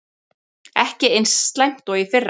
Ekki eins slæmt og í fyrra